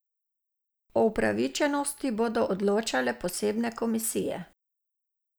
O upravičenosti bodo odločale posebne komisije.